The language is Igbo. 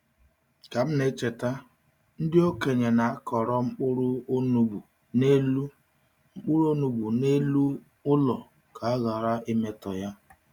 Ka m na-echeta, ndị okenye na-akọrọ mkpụrụ onugbu n’elu mkpụrụ onugbu n’elu ụlọ ka ha ghara imetọ ya.